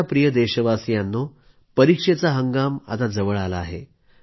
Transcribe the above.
माझ्या प्रिय देशवासियांनो परीक्षेचा हंगाम आता जवळ आला आहे